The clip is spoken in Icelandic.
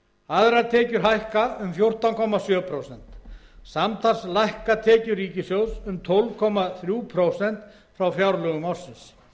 aðrar tekjur hækka um fjórtán komma sjö prósent samtals lækka tekjur ríkissjóðs um tólf komma þrjú prósent frá fjárlögum ársins